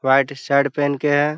White shirt पहन के है।